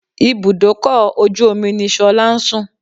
Ibùdókọ̀ ojú omi ni Ṣọlá ń sùn